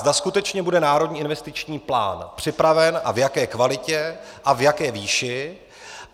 Zda skutečně bude Národní investiční plán připraven a v jaké kvalitě a v jaké výši.